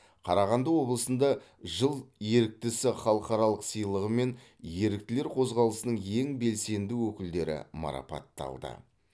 қарағанды облысында жыл еріктісі халықаралық сыйлығымен еріктілер қозғалысының ең белсенді өкілдері марапатталды